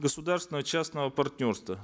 государственного частного партнерства